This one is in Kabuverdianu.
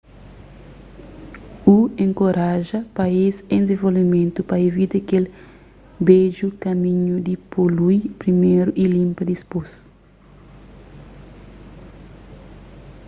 hu enkoraja país en dizenvolvimentu pa ivita kel bedju kaminhu di polui priméru y linpa dipôs